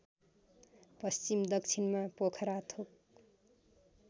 पश्चिम दक्षिणमा पोखराथोक